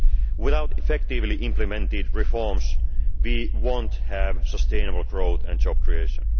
Without effectively implemented reforms, we will not have sustainable growth and job creation.